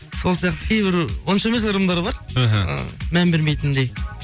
сол сияқты кейбір онша емес ырымдар бар іхі ы мән бермейтіндей